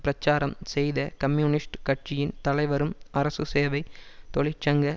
பிரச்சாரம் செய்த கம்யூனிஸ்ட் கட்சியின் தலைவரும் அரசு சேவை தொழிற் சங்க